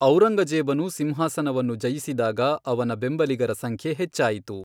ಔರಂಗಜೇಬನು ಸಿಂಹಾಸನವನ್ನು ಜಯಿಸಿದಾಗ ಅವನ ಬೆಂಬಲಿಗರ ಸಂಖ್ಯೆ ಹೆಚ್ಚಾಯಿತು.